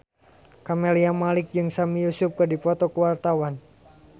Camelia Malik jeung Sami Yusuf keur dipoto ku wartawan